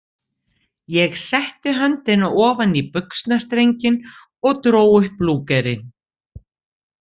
Ég setti höndina ofan í buxnastrenginn og dró upp Lúgerinn.